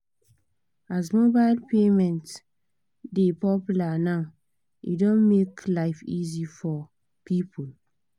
as mobile payment dey popular now e don make life easy for people